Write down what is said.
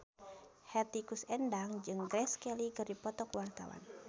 Hetty Koes Endang jeung Grace Kelly keur dipoto ku wartawan